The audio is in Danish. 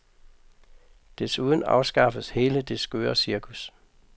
Desuden afskaffes hele det skøre cirkus.